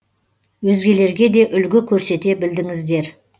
өзгелерге де үлгі көрсете білдіңіздер